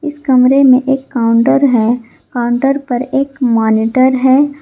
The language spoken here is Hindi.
इस कमरे में एक काउंटर है काउंटर पर एक मॉनिटर है।